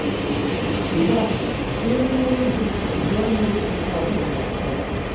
Gunnar Atli: Sjö milljónir sem þú þarft að skera niður um þá væntanlega eða?